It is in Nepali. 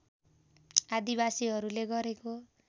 आदिवासिहरूले गरेको